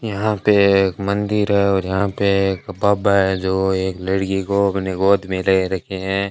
यहां पे एक मंदिर है और जहां पे एक बाबा है जो एक लड़की को अपने गोद में ले रखे हैं।